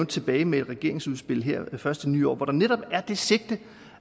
tilbage med et regeringsudspil her først i det nye år hvor der netop er det sigte